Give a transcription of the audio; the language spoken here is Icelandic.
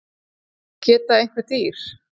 geta einhver dýr